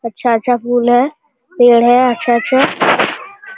अच्छा-अच्छा फुल है पेड़ है अच्छा-अच्छा।